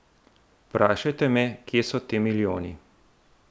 Vprašajte me, kje so ti milijoni!